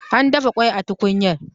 An dafa kwai a tukunyar